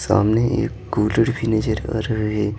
सामने एक कूलड़ भी नजर आ रहा है।